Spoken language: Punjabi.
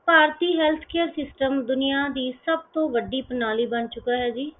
ਭਾਰਤੀ health care system ਦੁਨੀਆਂ ਦੀ ਸਭ ਤੋਂ ਵੱਡੀ ਪ੍ਰਣਾਲੀ ਬਣ ਚੁਕਾ ਹੈ ਜੀ।